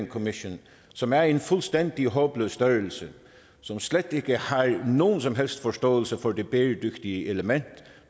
commission som er en fuldstændig håbløs størrelse som slet ikke har nogen som helst forståelse for det bæredygtige element